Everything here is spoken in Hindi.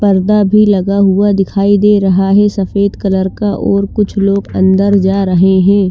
पर्दा भी लगा हुआ दिखाई दे रहा है सफ़ेद कलर का और कुछ लोग अन्दर जा रहे है ।